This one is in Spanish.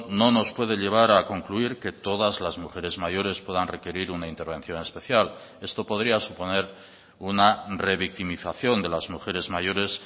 no nos puede llevar a concluir que todas las mujeres mayores puedan requerir una intervención especial esto podría suponer una revictimización de las mujeres mayores